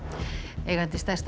eigandi stærsta